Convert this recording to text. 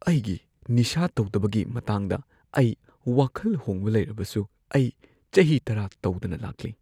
ꯑꯩꯒꯤ ꯅꯤꯁꯥ ꯇꯧꯗꯕꯒꯤ ꯃꯇꯥꯡꯗ ꯑꯩ ꯋꯥꯈꯜ ꯍꯣꯡꯕ ꯂꯩꯔꯕꯁꯨ ꯑꯩ ꯆꯍꯤ ꯱꯰ ꯇꯧꯗꯅ ꯂꯥꯛꯂꯤ꯫